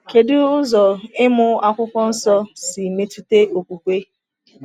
Kedu ụzọ ịmụ Akwụkwọ Nsọ si metụta okwukwe?